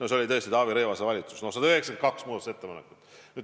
See oli tõesti Taavi Rõivase valitsus – no 192 muudatusettepanekut.